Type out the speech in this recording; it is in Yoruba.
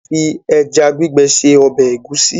A lè fi ẹja gbígbẹ se ọbẹ̀ ẹ̀gúsí